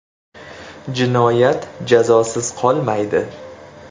Jinoyat jazosiz qolmaydi.